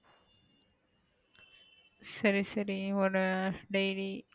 சரி சரி ஒரு daily காலைல புரியல என்னது.